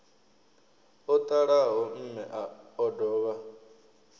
o ṱalaho mme o dovha